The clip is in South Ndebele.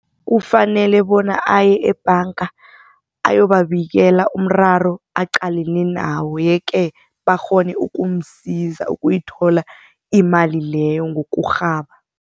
Kufanele bona aye ebhanga ayobabikela umraro aqalene nawo, yeke bakghone ukumsiza, ukuyithola imali leyo ngokurhaba.